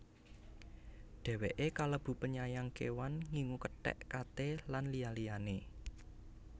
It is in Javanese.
Dheweke kalebu penyayang kewan ngingu kethek kate lan liya liyane